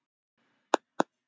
Til móts við nýja tíma